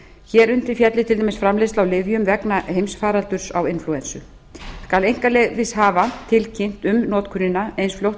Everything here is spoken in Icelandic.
hér undir félli til dæmis framleiðsla á lyfjum vegna heimsfaraldurs á inflúensu skal einkaleyfishafa tilkynnt um notkunina eins fljótt og